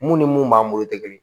Mun ni mun b'an bolo tɛ kelen ye